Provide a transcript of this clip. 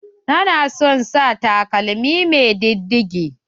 Tana son sa takalmi mai diddige.